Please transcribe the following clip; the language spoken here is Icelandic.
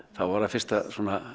þá var það fyrsta